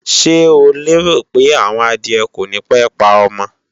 Ṣé o lérò pé àwọn adìẹ kònípé pa ọmọ?